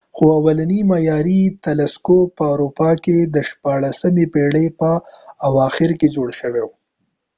خو اولنی معیاری تلسکوپ په اروپا کې د شپاړلسمې پیړۍ په اواخرو کې جوړ شو